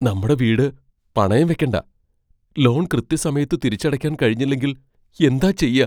നമ്മടെ വീട് പണയം വെയ്ക്കണ്ട . ലോൺ കൃത്യസമയത്ത് തിരിച്ചടയ്ക്കാൻ കഴിഞ്ഞില്ലെങ്കിൽ എന്താ ചെയ്യാ?